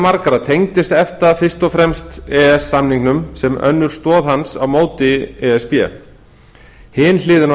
margra tengist efta fyrst og fremst e e s samningnum sem önnur stoð hans á móti e s b hin hliðin á